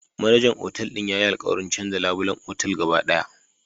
Manajan Otal din yayi alkawarin canza labulen otal gaba daya